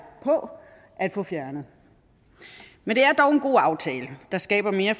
på at få fjernet men det er dog en god aftale der skaber mere